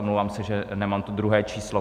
Omlouvám se, že nemám to druhé číslo.